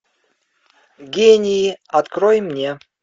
гении открой мне